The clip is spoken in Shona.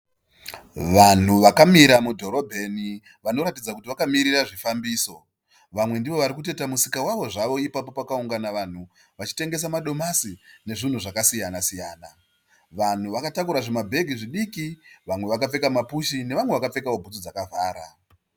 Vanhu vakamira mudhorobheni vanoratidza kuti vakamirira zvifambiso. Vamwe ndivo varikutoita musika wavo zvavo ipapo pakaungana vanhu vachitengesa madomasi nezvimwe zvakasiyana siyana. Vanhu vakatakura zvimabhegi zvidiki. Vamwe vakapfeka mapushi nevamwewo vakapfekawo bhutsu dzakavhura.